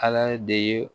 Ala de ye